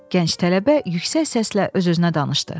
Gənc tələbə yüksək səslə öz-özünə danışdı.